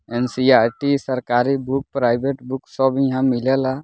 NCERT. सरकारी book private book सब इहा मिलेला।